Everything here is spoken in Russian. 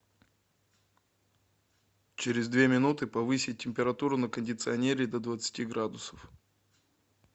через две минуты повысить температуру на кондиционере до двадцати градусов